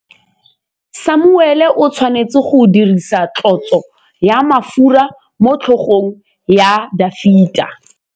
Samuele o tshwanetse go dirisa tlotsô ya mafura motlhôgong ya Dafita.